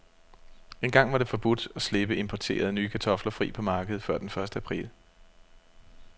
Engang var det forbudt at slippe importerede, nye kartofler fri på markedet før den første april.